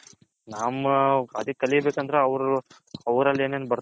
ಹಾ ನಮ್ಮ ಕಲಿಬೇಕು ಅಂದ್ರೆ ಅವರಲ್ಲಿ ಏನೇನ್